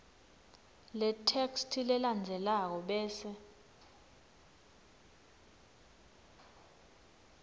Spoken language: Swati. letheksthi lelandzelako bese